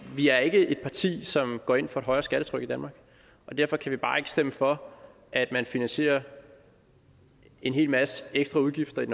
vi er ikke et parti som går ind for et højere skattetryk i danmark og derfor kan vi bare ikke stemme for at man finansierer en hel masse ekstra udgifter i